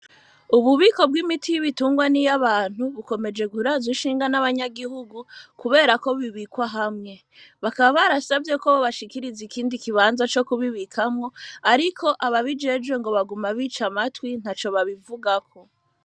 Ububiko bw’imiti y’ibitungwa niy’abantu bukomeje kurazw’ishinga nabanyagihugu kuberako bibikwa hamwe, bakaba barasavye ko bobashikiriza ikindi kibanza co kubibikamwo ariko ababijejwe ngo baguma bica amatwi ntaco babivugako.